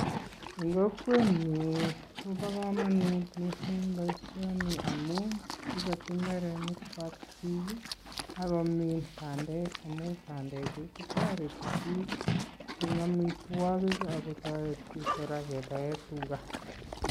En Kokwenyun Koba kamanut mising baishoniton amun ibati imbarenik chwak bik ako min bandek Chu amun tareti bik en amitwagik akotareti kora en baet ab tuga